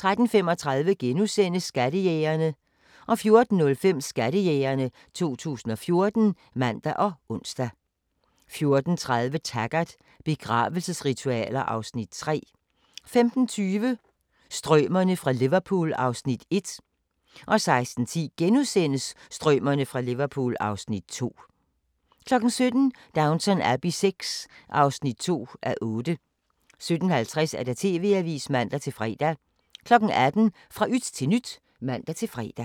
13:35: Skattejægerne * 14:05: Skattejægerne 2014 (man og ons) 14:30: Taggart: Begravelsesritualer (Afs. 3) 15:20: Strømerne fra Liverpool (Afs. 1) 16:10: Strømerne fra Liverpool (Afs. 2)* 17:00: Downton Abbey VI (2:8) 17:50: TV-avisen (man-fre) 18:00: Fra yt til nyt (man-fre)